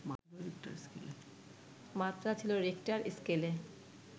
মাত্রা ছিল রিখটার স্কেলে